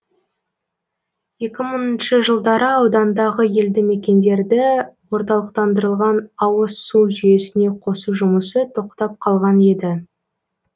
екі мыңыншы жылдары аудандағы елді мекендерді орталықтандырылған ауызсу жүйесіне қосу жұмысы тоқтап қалған еді